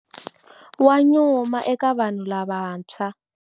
Wa nyuma eka vanhu lavantshwa.